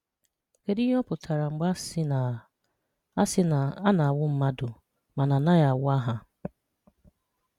Kédù íhè ọ̀ pụtara mg̀bè a sị́ na a sị́ na a na-anwụ́ mmadụ, màna a naghị́ anwụ́ àhà